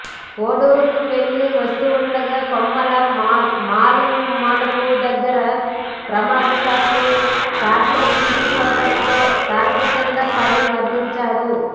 కోడూరుకు వెళ్లి వస్తుండగా కొమ్మాల మూలమలుపు దగ్గర ప్రమాదవశాత్తు ట్రాక్టర్ ఫల్టీ కొట్టడంతో ట్రాక్టర్ కింద పడి మరణించాడు